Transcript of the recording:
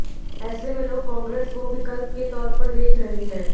ऐसे में लोग कांग्रेस को विकल्प के तौर पर देख रहे हैं